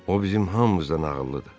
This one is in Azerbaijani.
O bizim hamımızdan ağıllıdır.